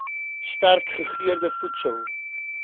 sterk gegeurde voedsel